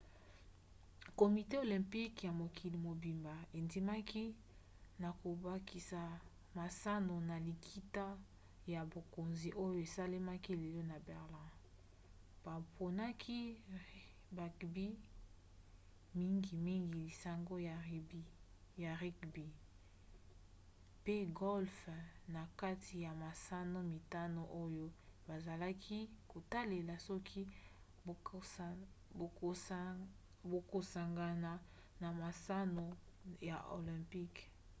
komite olympique ya mokili mobimba endimaki na kobakisa masano na likita ya bakonzi oyo esalemaki lelo na berlin. baponaki bugby mingimingi lisanga ya rugby pe golfe na kati ya masano mitano oyo bazalaki kotalela soki bakosangana na masano ya olympique